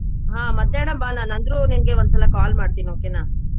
ಹ್ಮ ಮಧ್ಯಾಹ್ನ ಬಾ ಲಾ ಅಂದ್ರು ನಿಂಗ್ ಒಂದ್ ಸಲ call ಮಾಡ್ತೇನೆ okay ನಾ.